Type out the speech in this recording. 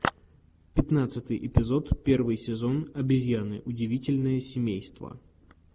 пятнадцатый эпизод первый сезон обезьяны удивительное семейство